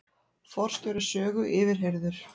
Forstjóri Sögu yfirheyrður